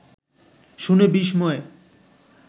শুনে বিস্ময়ে